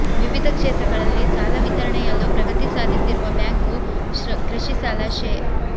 ವಿವಿಧ ಕ್ಷೇತ್ರಗಳಲ್ಲಿ ಸಾಲ ವಿತರಣೆಯಲ್ಲೂ ಪ್ರಗತಿ ಸಾಧಿಸಿರುವ ಬ್ಯಾಂಕು ಕೃಷಿ ಸಾಲ ಶೇ